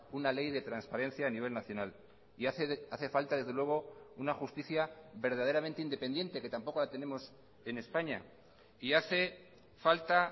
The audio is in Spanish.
una ley de transparencia a nivel nacional y hace falta desde luego una justicia verdaderamente independiente que tampoco la tenemos en españa y hace falta